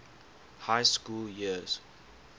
high school years